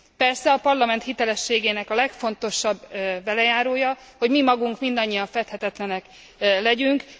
Persze a Parlament hitelességének legfontosabb velejárója, hogy mi magunk mindannyian feddhetetlenek legyünk.